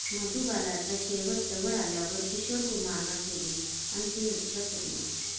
मधुबालाचा शेवट जवळ आल्यावर किशोर कुमारनं केली अंतिम इच्छा पूर्ण